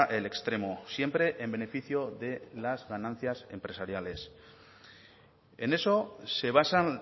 el extremo siempre en beneficio de las ganancias empresariales en eso se basan